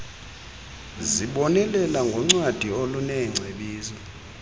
zibonelela ngoncwadi oluneengcebiso